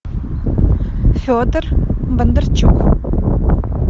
федор бондарчук